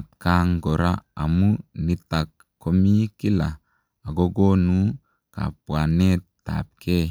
atkaan koraa amuu nitaak komii kila agokonuu kabwaneet ap gei